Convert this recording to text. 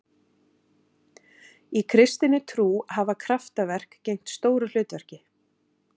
Í kristinni trú hafa kraftaverk gegnt stóru hlutverki.